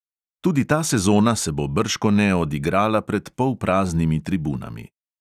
Tudi ta sezona se bo bržkone odigrala pred polpraznimi tribunami.